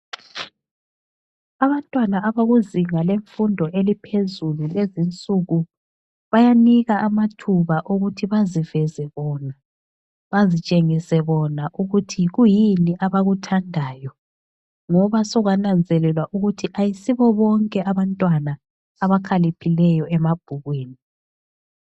Abantwana abakuzinga lemfundo eliphezulu kulezi nsuku bayanikwa amathuba okuthi baziveze bona bazitshengise bona ukuthi yikuyini abakuthandayo ngoba sokwananzelelwa ukuthi kayisibo bonke abantwana abakhaliphileyo emabhukwini.